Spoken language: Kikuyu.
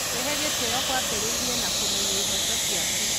Kwĩhe gĩtĩo kwambĩrĩirie na kũmenya ihooto ciaku.